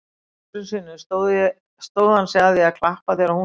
Nokkrum sinnum stóð hann sig að því að klappa þegar hún skoraði.